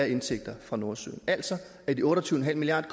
indtægter fra nordsøen af de otte og tyve milliard